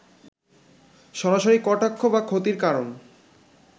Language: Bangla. সরাসরি কটাক্ষ বা ক্ষতির কারণ